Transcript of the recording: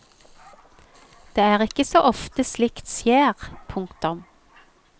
Det er ikke så ofte slikt skjer. punktum